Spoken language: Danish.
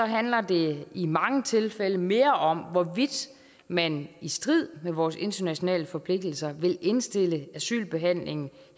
handler det i mange tilfælde mere om hvorvidt man i strid med vores internationale forpligtelser vil indstille asylbehandlingen